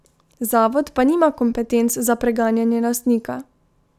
Zavod pa nima kompetenc za preganjanje lastnika.